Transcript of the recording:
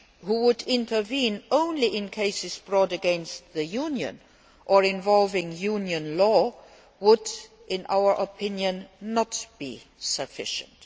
who would intervene only in cases brought against the Union or involving Union law, would, in our opinion, not be sufficient.